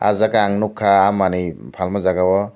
aw jaaga ang nugkha ah manei falma jaaga o.